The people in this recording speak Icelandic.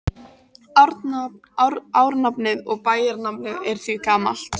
Árnafnið og bæjarnafnið er því gamalt.